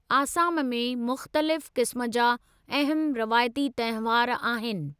आसाम में मुख़्तलिफ़ क़िस्म जा अहमु रवायती तंहिवार आहिनि।